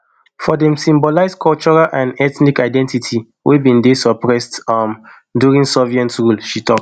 for dem e symbolise cultural and ethnic identity wey bin dey suppressed um during soviet rule she tok